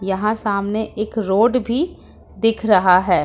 यहां सामने एक रोड भी दिख रहा है।